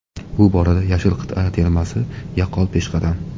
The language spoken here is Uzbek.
Bu borada yashil qit’a termasi yaqqol peshqadam.